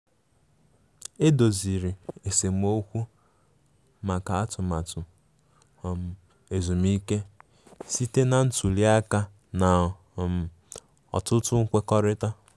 E doziri esemokwu maka atụmatụ um ezumike site na ntuli aka na um ọtụtụ nkwekọrịta.